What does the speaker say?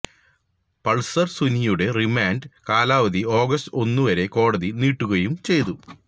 Pulsar സുനിയുടെ remand കാലാവധി August ഒന്നുവരെ കോടതി നീട്ടുകയും ചെയ്തു